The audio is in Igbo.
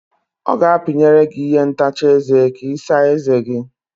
Ọ ga-apinyere gị ihe ntacha eze ka Ị saa eze gi.